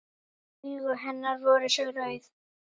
Augu hennar voru svo rauð.